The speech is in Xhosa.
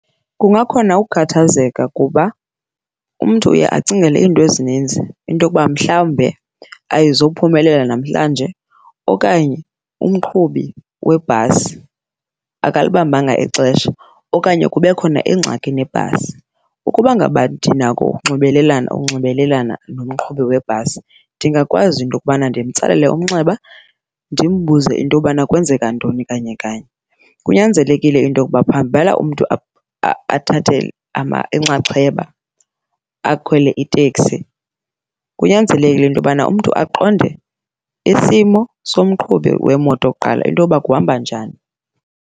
Kungakhona ukukhathazeka kuba umntu uye acingele iinto ezininzi, into yokuba mhlawumbe ayizophumelela namhlanje okanye umqhubi webhasi akalibambanga ixesha okanye kube khona ingxaki nebhasi. Ukuba ngaba ndinako ukunxibelelana, ukunxibelelana nomqhubi webhasi ndingakwazi into yokubana ndimtsalele umnxeba ndimbuze into yobana kwenzeka ntoni kanye kanye. Kunyanzelekile into yokuba phambi bana umntu athathe inxaxheba akhwele iteksi, kunyanzelekile into yobana umntu aqonde isimo somqhubi wemoto kuqala into yoba kuhamba njani.